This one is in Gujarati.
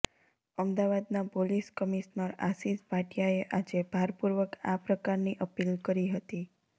અમદાવાદના પોલીસ કમિશનર આશિષ ભાટિયાએ આજે ભારપૂર્વક આ પ્રકારની અપીલ કરી હતી